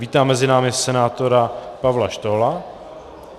Vítám mezi námi senátora Pavla Štohla.